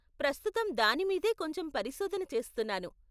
ప్రస్తుతం దానిమీదే కొంచెం పరిశోధన చేస్తున్నాను.